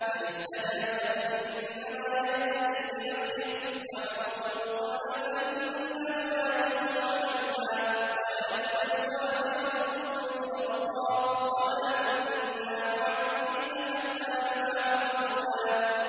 مَّنِ اهْتَدَىٰ فَإِنَّمَا يَهْتَدِي لِنَفْسِهِ ۖ وَمَن ضَلَّ فَإِنَّمَا يَضِلُّ عَلَيْهَا ۚ وَلَا تَزِرُ وَازِرَةٌ وِزْرَ أُخْرَىٰ ۗ وَمَا كُنَّا مُعَذِّبِينَ حَتَّىٰ نَبْعَثَ رَسُولًا